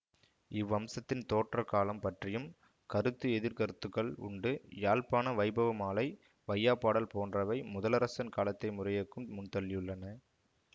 இவ்வம்சத்தின் தோற்ற காலம் பற்றியும் கருத்துஎதிர்க்கருத்துகள் உண்டு யாழ்ப்பாண வைபவமாலை வையாபாடல் போன்றவை முதலரசன் காலத்தை முறையேக்கும் முன்தள்ளியுள்ளன